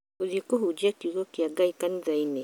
Ngũthiĩ kũhunjia kiugo kĩa Ngai kanithainĩ